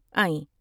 آئیں ۔